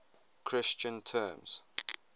christian terms